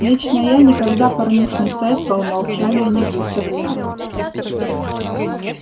лично я никогда порнушный сайт по умолчанию не выставляю